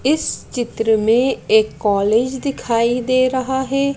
इस चित्र में एक कॉलेज दिखाई दे रहा है।